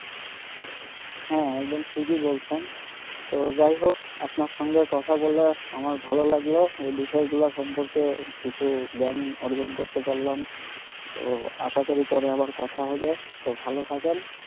হ্যাঁ একদম ঠিকই বলছেন তো যাই হোক আপনার সঙ্গে কথা বলে আমার ভালো লাগলো এই বিষয়গুলো সম্পর্কে কিছু জ্ঞান অর্জন করতে পারলাম তো আশা করি পরে আবার কথা হবে তো ভাল থাকেন।